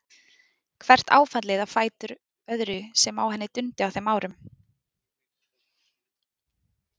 Hvert áfallið á fætur öðru sem á henni dundi á þeim árum.